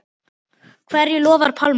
Hverju lofar Pálmar?